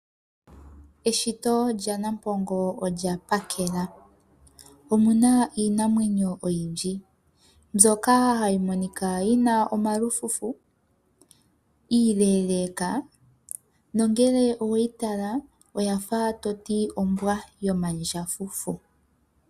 Eshito lyanampongo olya Pamela, omuna iinamwenyo oyindji, mbyoka ha yi Monika yina omalupe, iileeleeka, nongele owe yi tala, oto hale kutya ombwa yo mandjafufu.